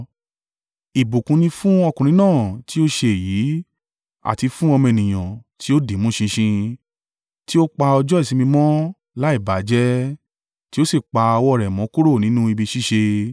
Ìbùkún ni fún ọkùnrin náà tí ó ṣe èyí, àti fún ọmọ ènìyàn tí ó dìímú ṣinṣin, tí ó pa ọjọ́ ìsinmi mọ́ láì bà á jẹ́, tí ó sì pa ọwọ́ rẹ̀ mọ́ kúrò nínú ibi ṣíṣe.”